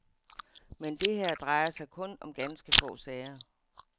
Men det her drejer sig kun om ganske få sager.